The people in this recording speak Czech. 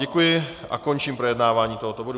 Děkuji a končím projednávání tohoto bodu.